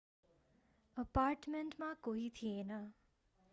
अपार्टमेन्टमा कोही थिएन